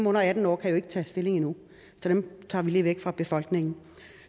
under atten år kan jo ikke tage stilling endnu så dem tager vi lige væk fra beregningen